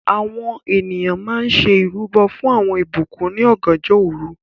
Àwọn ènìyàn mà n ṣẹ̀ irubọ̀ fún awọn ìbùkún ní ọ̀gànjọ̀ orú